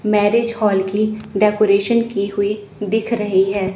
Marriage hall की decoration की हुई दिख रही है।